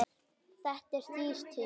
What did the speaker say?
Þetta er dýr tími.